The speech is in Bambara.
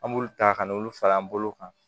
An b'olu ta ka n'olu fara an bolo kan